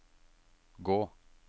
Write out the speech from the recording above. gå